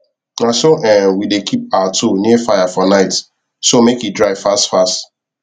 naso um we dey keep our tool near fire for night so make e dry fast fast